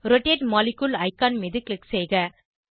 rotate molecule icon மீது click செய்க